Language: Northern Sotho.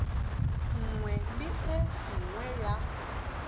nngwe le e nngwe ya